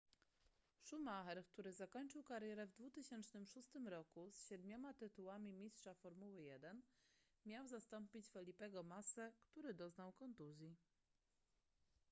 schumacher który zakończył karierę w 2006 roku z siedmioma tytułami mistrza formuły 1 miał zastąpić felipego massę który doznał kontuzji